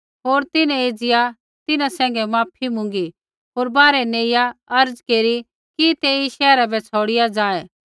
होर तिन्हैं एज़िया तिन्हां सैंघै माफ़ी मुँगी होर बाहरै नेइया अर्ज़ केरी कि तै एई शैहरा बै छ़ौड़िया जाऐ